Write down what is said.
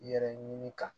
Yɛrɛ ɲini ka